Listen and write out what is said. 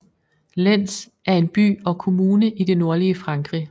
Lens er en by og kommune i det nordlige Frankrig